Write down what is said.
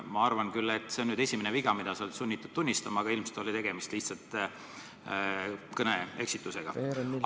Ma arvan küll, et see on nüüd esimene viga, mida sa oled sunnitud tunnistama, aga ilmselt oli tegemist lihtsalt kõneeksitusega.